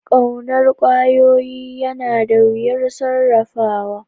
Ƙaunar ƙwayoyi yana da wuyar sarrafawa